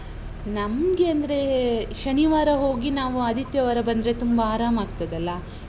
ನಮ್ಗೆ ಅಂದ್ರೆ. ಶನಿವಾರ ಹೋಗಿ ನಾವು ಆದಿತ್ಯವಾರ ಬಂದ್ರೆ ತುಂಬ ಆರಾಮಾಗ್ತದಲ್ಲ?